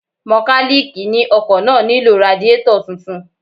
Mọkálíìkì ni ọkọ̀ náà nílò radiétọ̀ tuntun